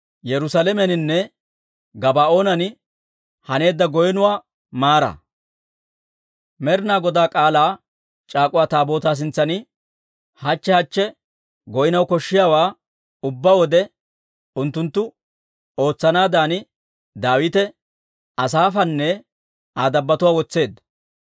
Med'inaa Godaa K'aalaa c'aak'uwa Taabootaa sintsan hachche hachche goynaw koshshiyaawaa ubbaa wode unttunttu ootsanaadan, Daawite Asaafanne Aa dabbotuwaa wotseedda.